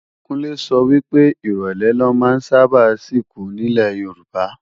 Kúnlé sọ wípé, ìrólé la ma ń sáábà sìnkú nílè Yorùbá